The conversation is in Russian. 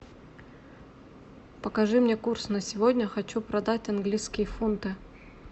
покажи мне курс на сегодня хочу продать английские фунты